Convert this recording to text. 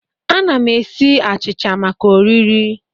Ana m esi achịcha maka oriri